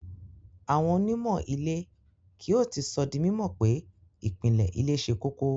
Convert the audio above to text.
Awọn onímọ́ ilẹ̀-kio ti sọ̀ dí mímọ̀ pé ipinle ilẹ̀ sẹ́ kòkò.